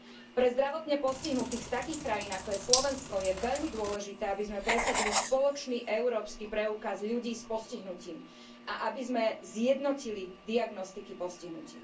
Pre zdravotne postihnutých z takých krajín, ako je Slovensko, je veľmi dôležité, aby sme presadili spoločný európsky preukaz ľudí s postihnutím a aby sme zjednotili diagnostiky postihnutí.